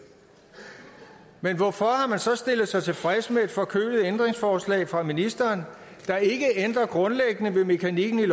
men hvorfor har man så stillet sig tilfreds med et forkølet ændringsforslag fra ministeren der ikke ændrer grundlæggende ved mekanikken i